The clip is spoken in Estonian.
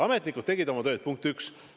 Ametnikud tegid oma tööd, punkt üks.